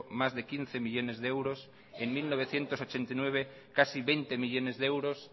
más de quince millónes de euros en mil novecientos ochenta y nueve casi veinte millónes de euros